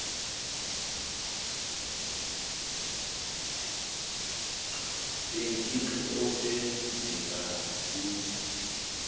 beengingqi ekwenzeka kuzo